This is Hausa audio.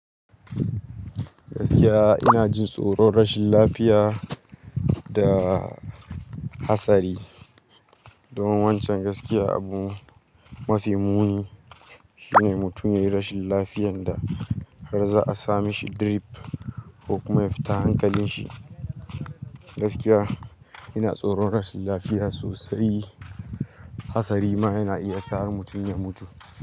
Gaskiya ina jin tsoron rashin lafiya da hatsari. Don wancan gaskiya abu mafi muni shine mutum yayi rashin lafiyan da har za'a sa mishi drip ko kuma ya fita hankalin shi. Gaskiya ina tsoron rashin lafiya sosai. Hatsari ma yana iya sa mutum ya mutu.